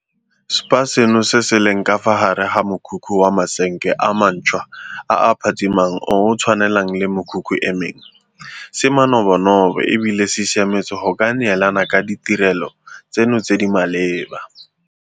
Spa seno, se se leng ka fa gare ga mokhukhu wa masenke a mantšhwa a a phatsimang o o tshwanang le mekhukhu e mengwe, se manobonobo e bile se siametse go ka neelana ka ditirelo tseno tse di maleba.